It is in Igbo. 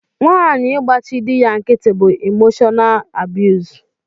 Nwanyi ịgbachi dị ya nkịtị bú imoshọnaal abiyuz.